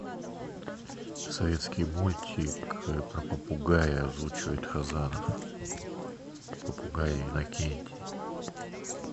советский мультик про попугая озвучивает хазанов попугай иннокентий